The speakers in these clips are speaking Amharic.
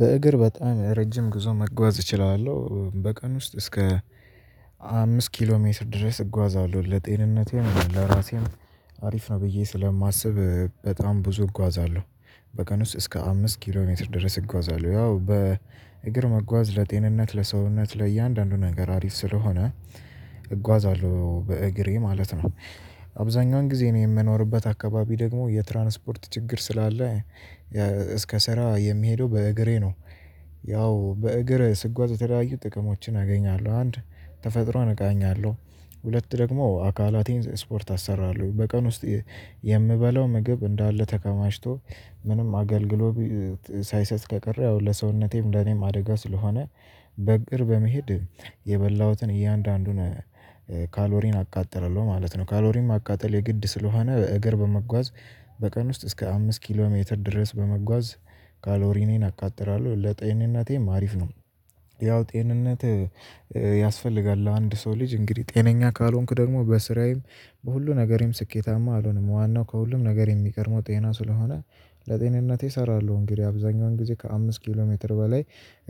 በእግር በጣም ረጅም ጉዞ መጓዝ እችላለሁ በቀን ውስጥ እስከ አምስት ኪሎ ሜስት ድረስ እጓዛለሁ ለጤንነቴም ለራሴም አሪፍ ነው ብዬ ስለማስብ በጣም ብዙ እጓዛለሁ። በቀን ውስጥ እስከ አምስት ኪሎ ሜትር ድረስ እጓዛለሁ ያው በእግር መጓዝ ለጤንነት ለሰውነት ለእያንዳንዱ ነገር አሪፍ ስለሆነ እጓዛለሁ በእግሬ ማለት ነው። አብዛኛውን ጊዜ እኔ የምኖርበት አካባቢ ደግሞ የትራንስፖርት ችግር ስላለ እስከ ስራ የምሄደው በእግሬ ነው። ያው በእግር ስጓዝ የተለያዩ ጥቅሞችን አገኛለሁ አንድ ተፈጥሮን እቃኛለሁ። ሁለት ደግሞ አካላቴን ስፖርት አሰራለሁ በቀን ውስጥ የምበላው ምግብ እንዳለ ተከማችቶ ምንም አገልግሎት ሳይሰጥ ከቀረ ያው ለሰውነቴም ለኔም አደጋ ስለሆነ በእግር በመሄድ የበላሁትን እያንዳንዱን ካሎሪን አቃጥላለው ማለት ነው። ካሎሪን ማቃጠል የግድ ስለሆነ በእግር በመጓዝ በቀን ውስጥ እስከ አምስት ኪሎ ሜትር ድረስ በመጓዝ ካሎሪኔን አቃጥላለሁ ለጤንነቴም አሪፍ ነው። ያው ጤንነት ያስፈልጋል ለአንድ ሰው ልጅ እንግዲህ ጤነኛ ካልሆንኩ ደግሞ በስራዬም በሁሉ ነገሬም ስኬታማ አልሆንም። ዋናው ከሁሉም ነገር የሚቀደመው ጤና ስለሆነ ለጤንነቴ እሰራለሁ እንግዲህ አብዛኛውን ጊዜ ከአምስት ኪሎ ሜትር በላይ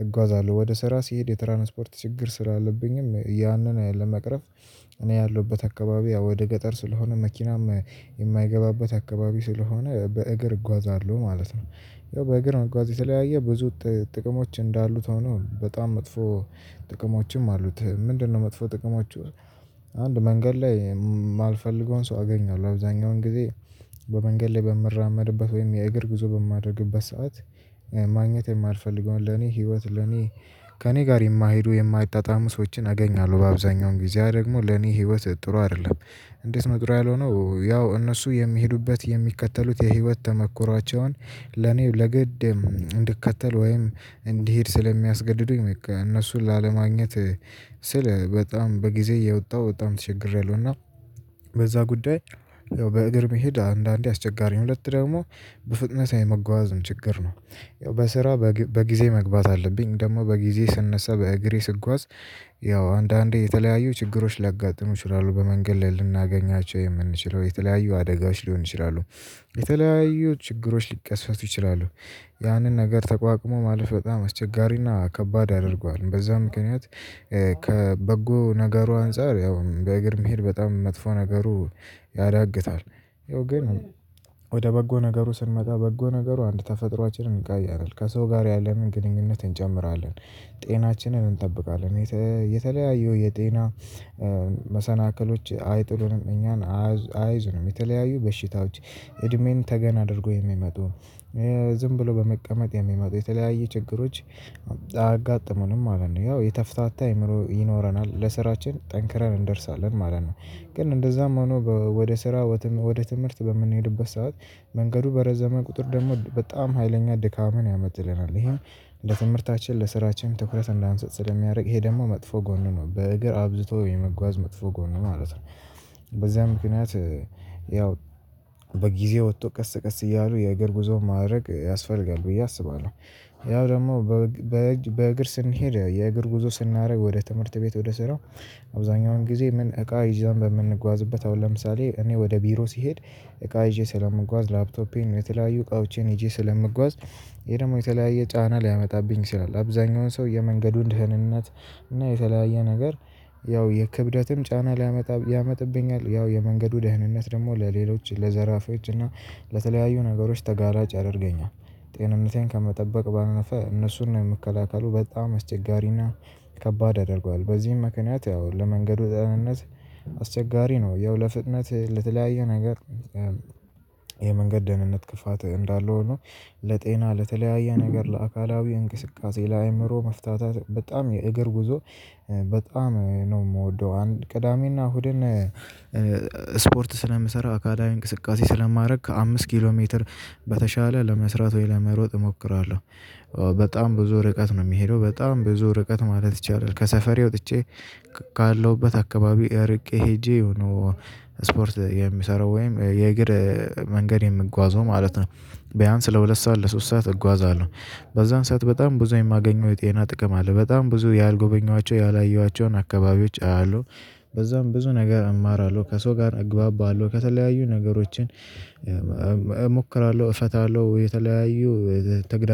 እጓዛለሁ ወደ ስራ ስሄድ የትራንስፖርት ችግር ስላለብኝም ያንን ለመቅረፍ እኔ ያለሁበት አካባቢ ያው ወደ ገጠር ስለሆነ መኪናም የማይገባበት አካባቢ ስለሆነ በእግር እጓዛለሁ ማለት ነው። ያው በእግር መጓዝ የተለያየ ብዙ ጥቅሞች እንዳሉት ሆኖ በጣም መጥፎ ጥቅሞችም አሉት። ምንድነው መጥፎ ጥቅሞቹ? አንድ መንገድ ላይ የማልፈልገውን ሰው አገኛለሁ አብዛኛውን ጊዜ በመንገድ ላይ በምራመድበት ወይም የእግር ጉዞ በማደርግበት ሰዓት ማግኘት የማልፈልገውን ለኔ ህይወት ለኔ ከእኔ ጋር የማይሄዱ የማይጣጣሙ ሰዎችን አገኛለሁ በአብዛኛው ጊዜ ያ ደግሞ ለኔ ህይወት ጥሩ አይደለም። እንዴት ነው ጥሩ ያልሆነው? ያው እነሱ የሚሄዱበት የሚከተሉት የህይወት ተሞክሮዋቸውን ለኔ ለግድ እንድከተል ወይም እንድሄድ ስለሚያስገድዱኝ በቃ እነሱን ላለማግኘት ስል በጣም በጊዜ እየወጣው በጣም ተቸግሬያለሁ። እና በዛ ጉዳይ ያው በእግር መሄድ አንዳንዴ አስቸጋሪ ነው። ሁለት ደግሞ በፍጥነት የመጓዝ ችግር ነው። በስራ በጊዜ መግባት አለብኝ ደግሞ በጊዜ ስነሳ በእግሬ ስጓዝ ያው አንዳንዴ የተለያዩ ችግሮች ሊያጋጥሙ ይችላሉ በመንገድ ላይ ልናገኛቸው የምንችለው የተለያዩ አደጋዎች ሊሆኑ ይችላሉ። የተለያዩ ችግሮች ሊከሰቱ ይችላሉ። ያንን ነገር ተቋቁሞ ማለፍ በጣም አስቸጋሪና ከባድ ያደርገዋል በዛ ምክንያት ከበጎ ነገሩ አንፃር ያው በእግር መሄድ በጣም መጥፎ ነገሩ ያዳግታል። ይኸው ግን ወደ በጎ ነገሩ ስንመጣ በጎ ነገሩ አንድ ተፈጥሮአችንን እንቃኛለን ከሰው ጋር ያለንን ግንኙነት እንጨምራለን። ጤናችንን እንጠብቃለን የተ የተለያዩ የጤና መሰናክሎች አይጥሉንም እኛን አይዙንም የተለያዩ በሽታዎች እድሜን ተገን አድርገው የሚመጡ ዝም ብሎ በመቀመጥ የሚመጡ የተለያየ ችግሮች አያጋጥሙንም ማለት ነው። ያው የተፍታታ አእምሮ ይኖረናል ለስራችን ጠንክረን እንደርሳለን ማለት ነው። ግን እንደዛም ሆኖ ወደ ስራ ወደ ትምህርት በምንሄድበት ሰዓት መንገዱ በረዘመ ቁጥር ደግሞ በጣም ሀይለኛ ድካምን ያመጣልናል ይሄም ለትምህርታችን ለስራችን ትኩረት እንዳንስጥ ስለሚያደርግ ይሄ ደግሞ መጥፎ ጎኑ ነው። በእግር አብዝቶ የመጓዝ መጥፎ ጎን ነው ማለት ነው። በዚያ ምክንያት ያው በጊዜ ወጥቶ ቀስ ቀስ እያሉ የእግር ጉዞ ማድረግ ያስፈልጋል ብዬ አስባለሁ። ያው ደግሞ በእግር ስንሄድ የእግር ጉዞ ስናደርግ ወደ ትምህርት ቤት ወደ ስራ አብዛኛውን ጊዜ ምን እቃ ይዘን በምንጓዝበት አሁን ለምሳሌ እኔ ወደ ቢሮ ስሄድ እቃ ይዤ ስለምጓዝ ላፕቶፔን የተለያዩ እቃዋቼን ሄዤ ስለምጓዝ ይሄ ደግሞ የተለያየ ጫና ሊያመጣብኝ ይችላል። አብዛኛውን ሰው የመንገዱን ደህንነት እና የተለያየ ነገር ያው የክብደትም ጫና ሊያመጣ ያመጣብኛል ያው የመንገዱ ደህንነት ደግሞ ለሌሎች ለዘራፊዋች እና ለተለያዩ ነገሮች ተጋላጭ ያደርገኛል። ጤንነቴን ከመጠበቅ ባለፈ እነሱን መከላከሉ በጣም አስቸጋሪና ከባድ ያደርገዋል። በዚህም ምክንያት ያው ለመንገዱ ጤንነት አስቸጋሪ ነው። ያው ለፍጥነት ለተለያየ ነገር የመንገድ ደህንነት ክፋት እንዳለ ሆኖ ለጤና ለተለያየ ነገር ለአካላዊ እንቅስቃሴ ለአእምሮ መፍታታት በጣም የእግር ጉዞ በጣም ነው የምወደው። አንድ ቅዳሜና እሁድን ስፖርት ስለምሰራ አካላዊ እንቅስቃሴ ስለማደርግ ከአምስት ኪሎ ሜትር በተሻለ ለመስራት ወይ ለመሮጥ እሞክራለሁ። በጣም ብዙ ርቀት ነው የምሄደው በጣም ብዙ ርቀት ማለት ይቻላል ከሰፈሬ ወጥቼ ካለሁበት አካባቢው እርቄ ሄጄ ነው። ስፖርት የምሰራው ወይም የእግር መንገድ የምጓዘው ማለት ነው። ቢያንስ ለሁለት ሰዓት ለሶስት ሰዓት እጓዛለሁ። በዛን ሰዓት በጣም ብዙ የማገኘው የጤና ጥቅም አለ በጣም ብዙ ያልጎበኘኋቸው ያላየኋቸውን አካባቢዎች አያለሁ። በዛም ብዙ ነገር እማራለሁ ከሰው ጋር እግባባለሁ ከተለያዩ ነገሮችን እሞክራለሁ እፈታለሁ የተለያዩ ተግዳ